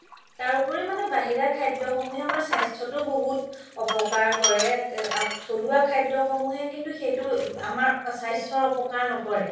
তাৰ ওপৰি মানে আমাৰ বাহিৰা খাদ্য সমুহে আমাৰ স্বাস্থ্যতো বহুত অপ্কাৰ কৰে থলুৱা খাদ্য সমুহে কিন্তু সেইটো আমাৰ স্বাস্থ্যৰ অপ্কাৰ নকৰে